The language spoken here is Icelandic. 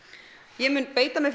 ég mun beita mér